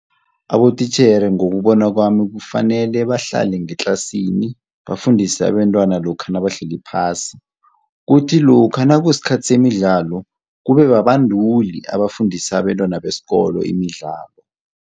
Abotitjhere ngokubona kwami kufanele bahlale ngetlasini bafundise abentwana lokha nabahleli phasi. Kuthi lokha nakusikhathi semidlalo kube babanduli abafundisa abentwana besikolo imidlalo.